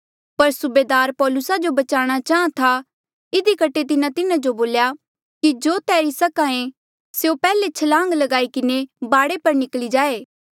पर सूबेदार पौलुसा जो बचाणा चाहां था इधी कठे तिन्हें तिन्हा जो बोल्या कि जो तैरी सक्हा ऐें स्यों पैहले छलांग ल्गाई किन्हें बाढे पर निकली जाए